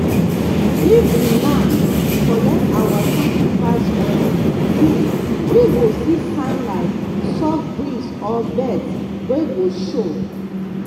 if the land collect our sacrifice well we we go see sign like soft breeze or birds wey go show.